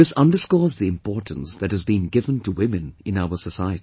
This underscores the importance that has been given to women in our society